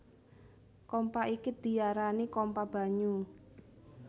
Kompa iki diarani kompa banyu